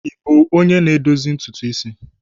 Ị bụ onye na-edozi ntutu isi?